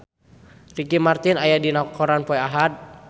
Ricky Martin aya dina koran poe Ahad